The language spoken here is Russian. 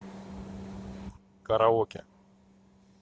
караоке